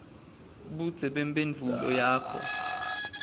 budze bemphendvulo yakho